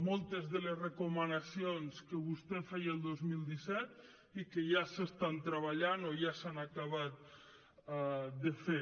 moltes de les recomanacions que vostè feia el dos mil disset i que ja s’estan treballant o ja s’han acabat de fer